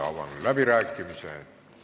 Avan läbirääkimised.